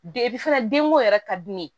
fana denko yɛrɛ ka di ne ye